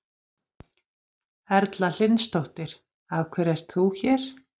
Erla Hlynsdóttir: Af hverju ert þú hér?